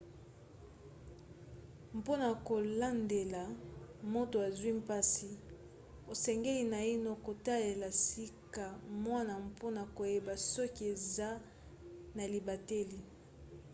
mpona kolandela moto azwi mpasi osengeli naino kotalela sika wana mpona koyeba soki eza na libateli